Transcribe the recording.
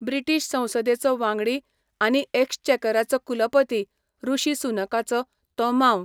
British संसदेचो वांगडी आनी एक्स्चेकराचो कुलपती ऋषी सुनकाचो, तो मांव.